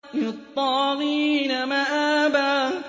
لِّلطَّاغِينَ مَآبًا